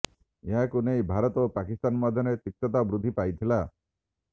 ଏହାକୁ ନେଇ ଭାରତ ଓ ପାକିସ୍ତାନ ମଧ୍ୟରେ ତିକ୍ତତା ବୃଦ୍ଧି ପାଇଥିଲା